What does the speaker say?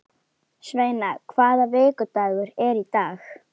Sveina, hvaða vikudagur er í dag?